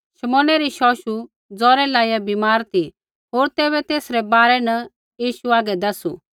शमौने री शौशु जौरे लाईया बीमार ती होर तैबै तेसरै बारै न यीशु आगै दैसू